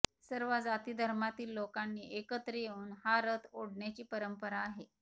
सर्व जाती धर्मातील लोकांनी एकत्र येऊन हा रथ ओढण्याची परंपरा आहे